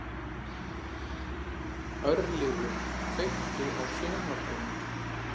Örlygur, kveiktu á sjónvarpinu.